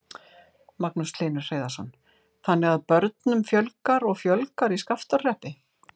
Magnús Hlynur Hreiðarsson: Þannig að börnum fjölgar og fjölgar í Skaftárhreppi?